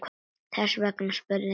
Þess vegna spurði enginn hana.